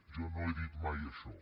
jo no he dit mai això